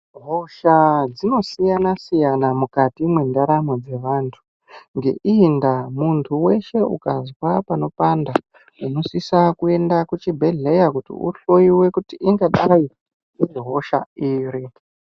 Hosha dzinosiyana-siyana mukati mwendaramo dzevantu. Ngeiyi ndaa muntu weshe ukazwa panopanda unosisa kuenda kuchibhehleya kuti uhloyiwe kuti ingadai irihosha iri.